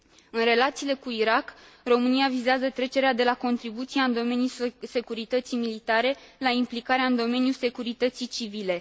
În relațiile cu Irak, România vizează trecerea de la contribuția în domeniul securității militare la implicarea în domeniul securității civile.